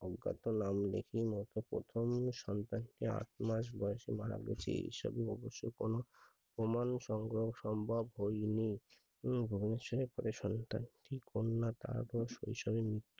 কত প্রথম সন্তান আট মাস দোষে মারা গেছে সামনে বছর কোনো প্রমান সোহো সম্ভব হয়নি কোনো সম্ভব হলে পুত্র সন্তান না কন্যা